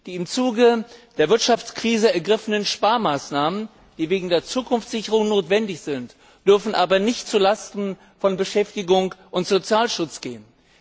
Die im Zuge der Wirtschaftskrise ergriffenen Sparmaßnahmen, die wegen der Zukunftssicherung notwendig sind, dürfen aber nicht zulasten von Beschäftigung und Sozialschutz gehen.